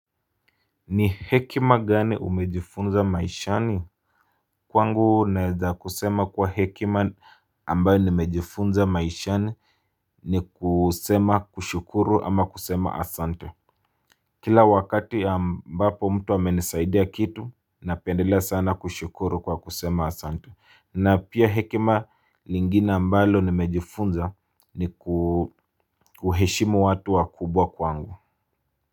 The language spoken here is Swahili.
Ni hekima gani umejifunza maishani? Kwangu naeza kusema kwa hekima ambayo nimejifunza maishani ni kusema kushukuru ama kusema asante. Kila wakati ambapo mtu amenesaidia kitu napendelea sana kushukuru kwa kusema asante na pia hekima lingine ambalo nimejifunza ni kuheshimu watu wakubwa kwangu.